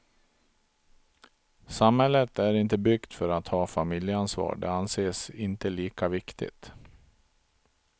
Samhället är inte byggt för att ha familjeansvar, det anses inte lika viktigt.